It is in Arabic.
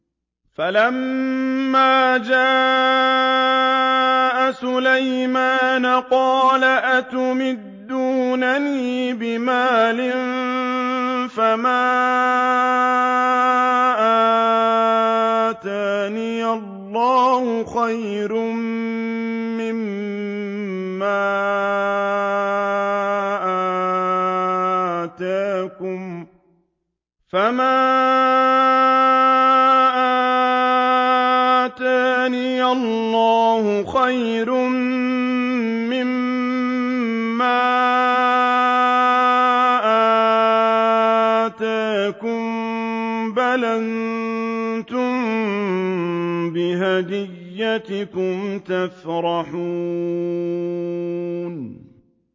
فَلَمَّا جَاءَ سُلَيْمَانَ قَالَ أَتُمِدُّونَنِ بِمَالٍ فَمَا آتَانِيَ اللَّهُ خَيْرٌ مِّمَّا آتَاكُم بَلْ أَنتُم بِهَدِيَّتِكُمْ تَفْرَحُونَ